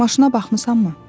Maşına baxmısanmı?